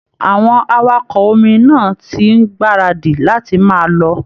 Àwọn awakọ omi náà ti ń gbáradì láti máa lọ